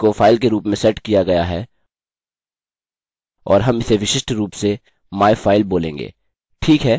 इस type को file के रूप में सेट किया गया है और हम इसे विशिष्ट रूप से myfile बोलेंगे